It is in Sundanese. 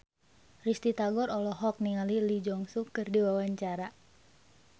Risty Tagor olohok ningali Lee Jeong Suk keur diwawancara